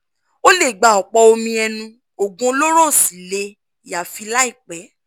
o lè gba ọ̀pọ̀ omi ẹnu oògùn olóró ó sì lè yááfì láìpẹ́